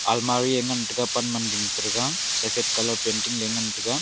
almari a ngan tega pan man ding pe thega sephet colour painting le ngan tega.